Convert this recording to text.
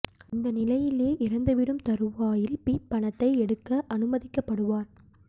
இந்த நிலையில் எ இறந்துவிடும் தருவாயில் பி பணத்தை எடுக்க அனுமதிக்கப்படுவார்